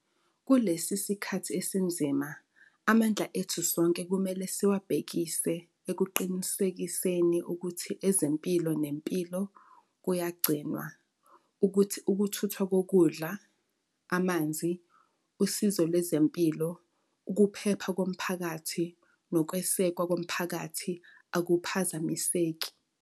Kulesi sikhathi esinzima, amandla ethu sonke kumele siwabhekise ekuqinisekiseni ukuthi ezempilo nempilo kuyagcinwa, ukuthi ukuthuthwa kokudla, amanzi, usizo lwezempilo, ukuphepha komphakathi nokwesekwa komphakathi akuphazamiseki.